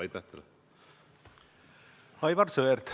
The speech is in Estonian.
Aivar Sõerd, palun!